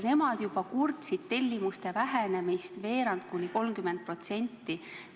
Nemad juba kurtsid tellimuste vähenemist veerandi võrra, kuni 30%.